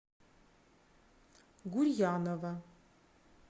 гурьянова